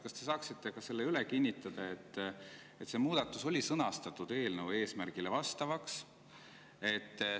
Kas te saaksite selle üle kinnitada, et see muudatus oli sõnastatud eelnõu eesmärgile vastavaks?